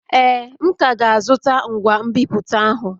Ee, m ka ga-azụta ngwa nbipute ahụ